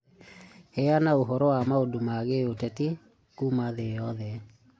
Heana ũhoro wa maũndũ ma gĩũteti kuuma thĩ yothe.